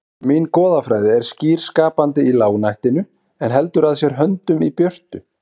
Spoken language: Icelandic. Mín goðafræði er skýr skapandi í lágnættinu en heldur að sér höndum í björtu